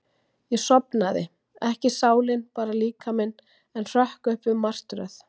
Ég sofnaði, ekki sálin, bara líkaminn, en hrökk upp við martröð.